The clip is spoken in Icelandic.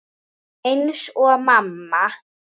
Eins og mamma.